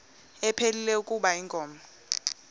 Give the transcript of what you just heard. ephilile kuba inkomo